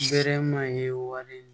Bɛɛrɛ ma ye walen